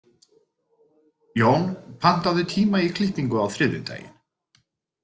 Jón, pantaðu tíma í klippingu á þriðjudaginn.